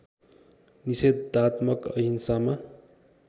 निषेधात्मक अहिंसामा